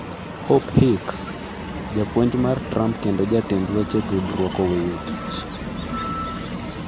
Hope Hicks: Japuonj mar Trump kendo jatend weche tudruok oweyo tich